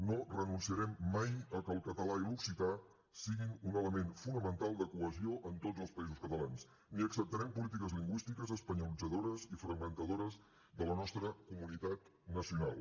no renunciarem mai a que el català i l’occità siguin un element fonamental de cohesió en tots els països catalans ni acceptarem polítiques lingüístiques espanyolitzadores i fragmentadores de la nostra comunitat nacional